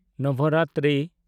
Navratri